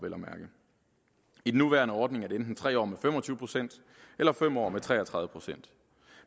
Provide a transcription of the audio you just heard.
i den nuværende ordning er det enten tre år med fem og tyve procent eller fem år med tre og tredive procent